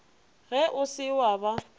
ge o se wa ba